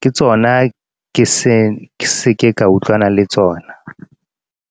ke tsona ke se ke ka utlwanang le tsona.